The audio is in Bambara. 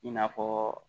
I n'a fɔ